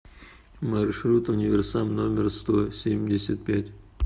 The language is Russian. маршрут универсам номер сто семьдесят пять